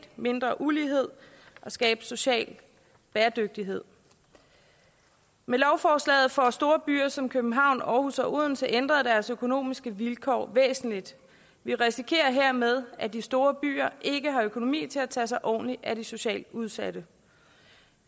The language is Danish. mindre ulighed og skabe social bæredygtighed med lovforslaget får store byer som københavn aarhus og odense ændret deres økonomiske vilkår væsentligt vi risikerer hermed at de store byer ikke har økonomi til at tage sig ordentligt af de socialt udsatte